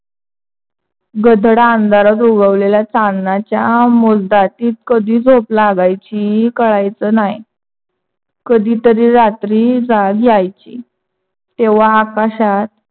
गडद आंधरात उगवलेल्या चांदणाच्या मोजदातीत कधी झोप लागायची? कळायच ना. ही कधी तरी रात्री जाग यायची. तेव्हा आकाशात